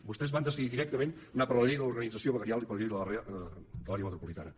vostès van decidir directament anar per la llei de l’organització veguerial i per la llei de l’àrea metropolitana